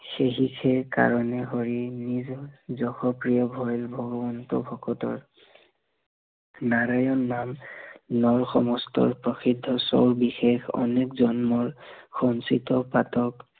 সেহি সেই কাৰনে হৰি নিজৰ যশ ক্ৰীয়া হৈৱ ভগৱন্ত ভকতৰ নাৰয়ণ নাম নৰ সমস্ত প্ৰসিদ্ধ স্বৰ বিশেষ অনেক জন্মৰ, সঞ্চিত পাতক